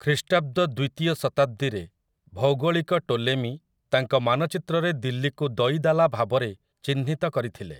ଖ୍ରୀଷ୍ଟାବ୍ଦ ଦ୍ୱିତୀୟ ଶତାବ୍ଦୀରେ ଭୌଗୋଳିକ ଟୋଲେମି ତାଙ୍କ ମାନଚିତ୍ରରେ ଦିଲ୍ଲୀକୁ ଦଇଦାଲା ଭାବରେ ଚିହ୍ନିତ କରିଥିଲେ ।